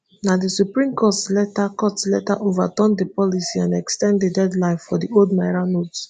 na di supreme court later court later overturn di policy and ex ten d di deadline for di old naira notes